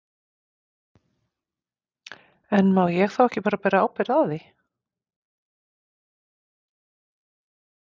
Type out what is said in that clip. En má ég þá ekki bara bera ábyrgð á því?